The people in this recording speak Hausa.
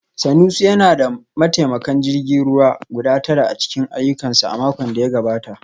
Sanusi yana da mataimakan jirgin ruwa guda tara a cikin ayyukansa a makon da ya gabata